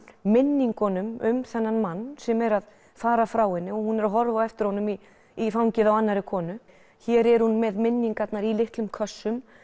minningum um þennan mann sem er að fara frá henni hún er að horfa á eftir honum í í fangið á annarri konu hér er hún með minningarnar í litlum kössum